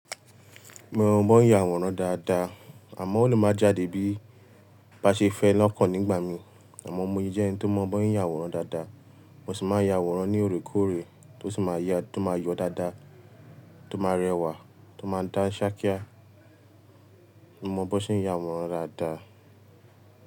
Mo maa n yaworan daadaa, amo, o le maa jade bi, ba se fe lokan nigba mi àmọ́ mo yí jẹ ẹni tó mọ bi won se n yàwòrán dàda. Mo sì máa ya àwòrán ní òorékòóre tó sì máa yọ dáadáa, tó máa rẹwà, tó máa dá ṣákíá. Mo mọ bí won ṣe ń ya àwòrán dáadáa.